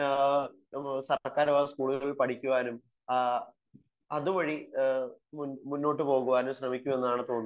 സർക്കാർ സ്കൂളുകളിൽ പഠിക്കുവാനും അതുവഴി മുന്നോട്ടു പോവാനും ശ്രമിക്കുമെന്നാണ് തോന്നുന്നത്